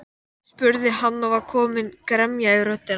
Reykjavíkursvæðisins var komið á laggirnar á